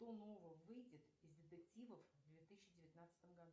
что нового выйдет из детективов в две тысячи девятнадцатом году